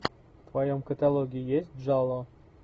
в твоем каталоге есть джалло